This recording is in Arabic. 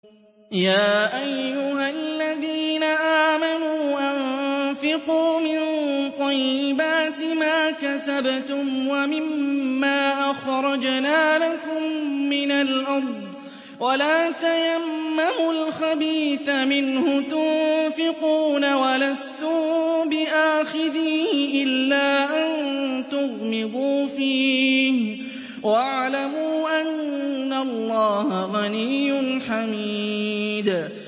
يَا أَيُّهَا الَّذِينَ آمَنُوا أَنفِقُوا مِن طَيِّبَاتِ مَا كَسَبْتُمْ وَمِمَّا أَخْرَجْنَا لَكُم مِّنَ الْأَرْضِ ۖ وَلَا تَيَمَّمُوا الْخَبِيثَ مِنْهُ تُنفِقُونَ وَلَسْتُم بِآخِذِيهِ إِلَّا أَن تُغْمِضُوا فِيهِ ۚ وَاعْلَمُوا أَنَّ اللَّهَ غَنِيٌّ حَمِيدٌ